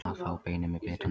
Að fá beinið með bitanum